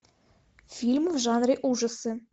фильм в жанре ужасы